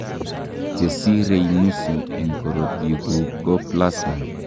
chesirei nusu en korotik guk ko plasma